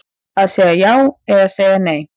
Að segja já eða segja nei